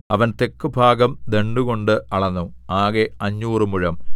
അവൻ തെക്കുഭാഗം ദണ്ഡുകൊണ്ട് അളന്നു ആകെ അഞ്ഞൂറ് മുഴം